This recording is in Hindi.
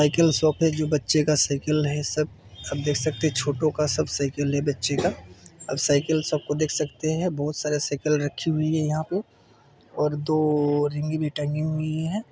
साइकिल शॉप है जो बच्चे का साइकिल है सब सब देख सकते है छोटो का सब साइकिल है बच्चे का आप साइकिल सब को देख सकते है बहोत सारे साइकिल रखी हुई है यहाँ पे और दो रिंगी भी टंगी हुई है।